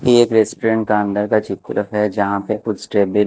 ये एक रेस्टोरेंट का अंदर का चित्र है जहाँ पे कुछ टेबल --